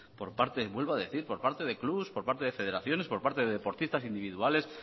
por parte vuelvo a decir por parte de clubes por parte de federaciones por parte de deportistas individuales